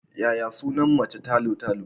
Yaya sunan macen talo-talo?